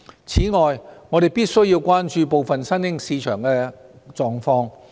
此外，我們必須關注部分新興市場的狀況。